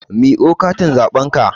Miƙo katin zaɓen ka!